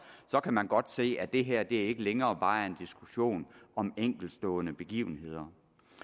kan man godt se at det her ikke længere bare er en diskussion om enkeltstående begivenheder